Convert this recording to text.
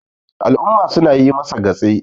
al'umma suna yi masa gatse